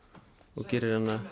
og gerir hana